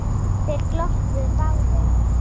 Þeir glottu báðir.